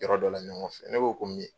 Yɔrɔ dɔ la ɲɔgɔn fɛ, ne b'o ko mi ye